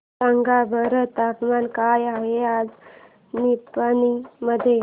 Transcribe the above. सांगा बरं तापमान काय आहे आज निपाणी मध्ये